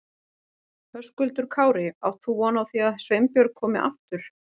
Höskuldur Kári: Átt þú von á því að Sveinbjörg komi aftur?